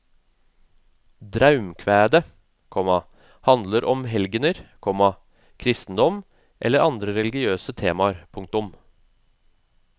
Draumkvædet, komma handler om helgener, komma kristendom eller andre religiøse temaer. punktum